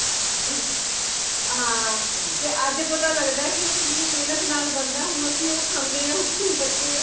ਹਾਂ ਤੇ ਅੱਜ ਪਤਾ ਲੱਗਦਾ ਕੀ ਉਹ ਕਿਨਿ ਮੇਹਨਤ ਨਾਲ ਬੰਦਾ ਹੁਣ ਅਸੀਂ ਉਹ ਖਾਂਦੇ ਹਾਂ ਬੱਚੇ